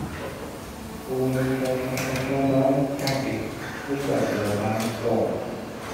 omi funfun funfun máa ń jáde nígbà tí mo bá ń tọ̀